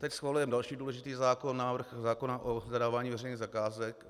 Teď schvalujeme další důležitý zákon - návrh zákona o zadávání veřejných zakázek.